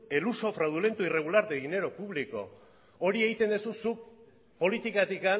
el uso fraudulento e irregular de dinero público hori egiten duzu zuk politikatik